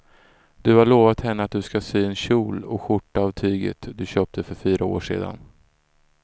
Du har lovat henne att du ska sy en kjol och skjorta av tyget du köpte för fyra år sedan.